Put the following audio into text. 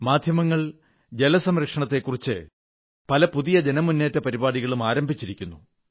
മാധ്യമങ്ങൾ ജല സംരക്ഷണത്തെക്കുറിച്ച് പല പുതിയ ജനമുന്നേറ്റ പരിപാടികളും ആരംഭിച്ചിരിക്കുന്നു